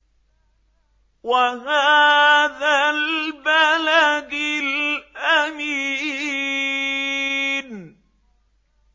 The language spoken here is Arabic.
وَهَٰذَا الْبَلَدِ الْأَمِينِ